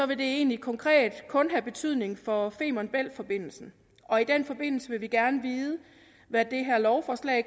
det egentlig konkret kun få betydning for femern bælt forbindelsen og i den forbindelse vil vi gerne vide hvad det her lovforslag